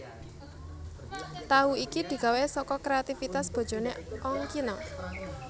Tahu iki digawé saka kréativitas bojoné Ongkino